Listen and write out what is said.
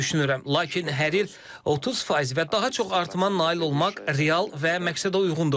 Lakin hər il 30% və daha çox artıma nail olmaq real və məqsədəuyğundur.